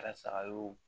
Kɛra saga y'o